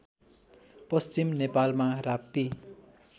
पश्चिम नेपालमा राप्ती